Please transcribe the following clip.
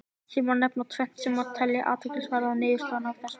Hér má nefna tvennt sem má telja til athyglisverðra niðurstaðna af þessum vettvangi.